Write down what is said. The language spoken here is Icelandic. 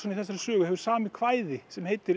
í þessari sögu hefur samið kvæði sem heitir